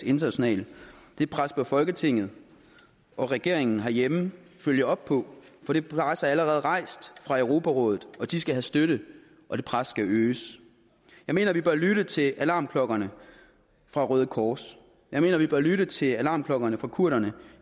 internationalt det pres bør folketinget og regeringen herhjemme følge op på for det pres er allerede rejst fra europarådets og de skal have støtte og det pres skal øges jeg mener vi bør lytte til alarmklokkerne fra røde kors jeg mener vi bør lytte til alarmklokkerne fra kurderne